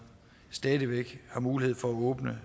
stadig væk har mulighed for at åbne